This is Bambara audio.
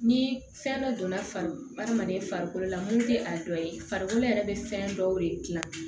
Ni fɛn dɔ donna farikolo adamaden farikolo la mun tɛ a dɔ ye farikolo yɛrɛ bɛ fɛn dɔw de dilan